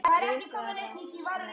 Jú svarar Snorri.